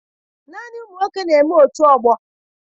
Naanị ụmụ nwoke na-eme otù ọgbọ